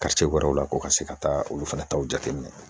wɛrɛw la ko ka se ka taa olu fana taw jateminɛ